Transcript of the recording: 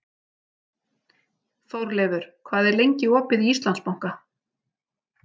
Þórleifur, hvað er lengi opið í Íslandsbanka?